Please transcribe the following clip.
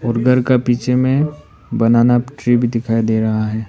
घर का पीछे में बनाना ट्री भी दिखाई दे रहा है।